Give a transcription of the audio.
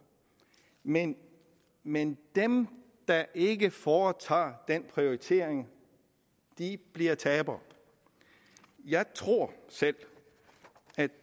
men men dem der ikke foretager den prioritering bliver tabere jeg tror selv at